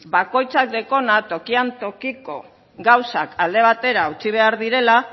bakoitzak dekona tokian tokiko gauzak alde batera utzi behar direla